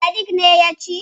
Sadik ne ya ci.